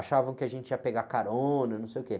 Achavam que a gente ia pegar carona, não sei o quê.